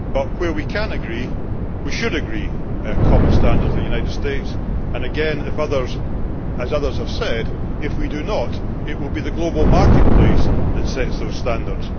Where we can agree, we should agree common standards with the United States, and again, as others have said, if we do not, it will be the global marketplace that sets those standards.